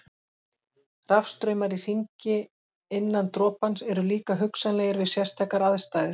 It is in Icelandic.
Rafstraumar í hringi innan dropans eru líka hugsanlegir við sérstakar aðstæður.